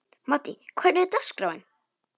Maddý, hvernig er dagskráin?